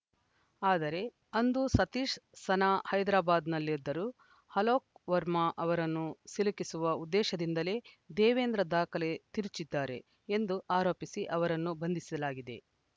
ಆದರೆ ಅಂದು ಸತೀಶ್‌ ಸನಾ ಹೈದರಾಬಾದ್‌ನಲ್ಲಿದ್ದರು ಅಲೋಕ್‌ ವರ್ಮಾ ಅವರನ್ನು ಸಿಲುಕಿಸುವ ಉದ್ದೇಶದಿಂದಲೇ ದೇವೇಂದ್ರ ದಾಖಲೆ ತಿರುಚಿದ್ದಾರೆ ಎಂದು ಆರೋಪಿಸಿ ಅವರನ್ನು ಬಂಧಿಸಲಾಗಿದೆ